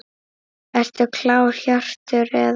Ertu klár Hjörtur eða?